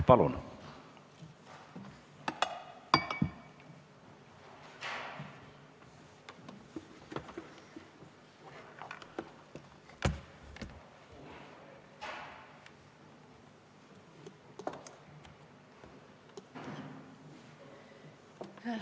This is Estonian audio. Palun!